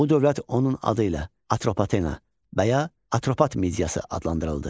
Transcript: Bu dövlət onun adı ilə Atropatena, və ya Atropat Mediyası adlandırıldı.